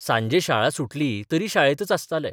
सांजे शाळा सुटली तरी शाळेतच आसताले.